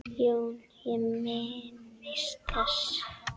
JÓN: Ég minnist þess.